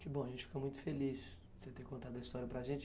Que bom, a gente fica muito feliz por você ter contado a história para a gente.